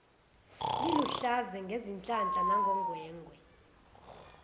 liluhlaza ngezihlahla nangongwengwe